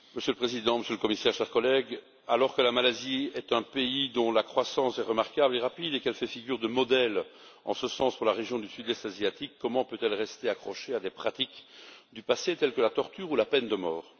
Monsieur le Président, Monsieur le Commissaire, chers collègues, alors que la Malaisie est un pays dont la croissance est remarquable et rapide, et qu'elle fait figure de modèle en ce sens pour la région du Sud Est asiatique, comment peut elle rester accrochée à des pratiques du passé, telles que la torture ou la peine de mort?